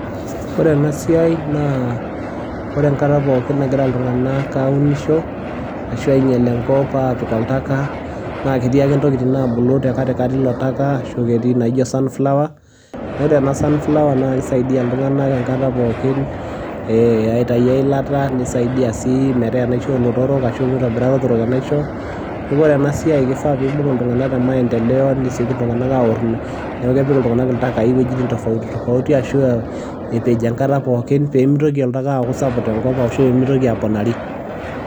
ore ena siai naa ore enkata pookin nagira iltungank aaunisho, ashu aingiel enkop aapik oltaka, naa ketii ake ntokitin naabulu te katikati ilo taka, ashu aa ketii inaijo sunflower idoolta ena vsunflower na kisaidia iltunganak enkata pookin aitayu eilata.,nisaidia sii metaa enaisho oolotorok ashu aa mitobira ilotorok enaisho. neku ore ena siai kifaa nibung iltungank te maendeleo nesioki iltunganak aor, neeku kepik iltunganak iltakai iwuejitin tofauti tofauti ashu, epej enkata pookin, pee mitoki oltaka aaku sapuk tenkop ashu pee mitoki aponari.